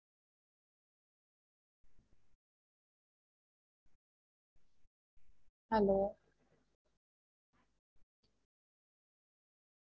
Hello